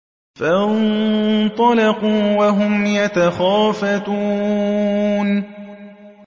فَانطَلَقُوا وَهُمْ يَتَخَافَتُونَ